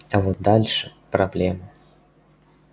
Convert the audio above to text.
а вот дальше проблема